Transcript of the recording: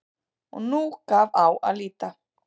Og nú gaf á að líta.